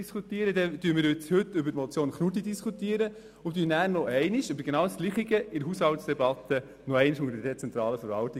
Diskutieren wir heute über die Motion Knutti, so diskutieren wir anschliessend noch einmal über dasselbe wie in der Haushaltsdebatte zur dezentralen Verwaltung.